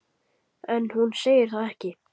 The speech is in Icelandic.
En hún segir það ekki.